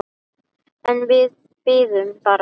En við biðum bara.